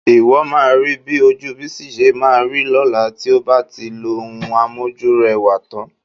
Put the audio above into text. Ìwọ máa rí bí ojú Bísí ṣe máa rí lọ́la tí ó bá ti lo ohun amójúrẹwà tán